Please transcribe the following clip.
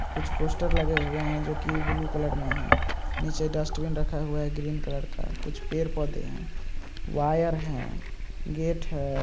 कुछ पोस्टर लगे हुए हैं। जो की ब्लू कलर में है। नीचे डस्टबिन रखा हुआ है। ग्रीन कलर का कुछ पेड़ पौधे हैं। वायर है। गेट है।